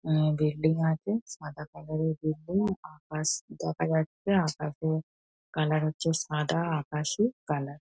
উম building আছে সাদা colour -এর বিল্ডিং । আকাশ দেখা যাচ্ছে। আকাশের কালার হচ্ছে সাদা আকাশী কালার ।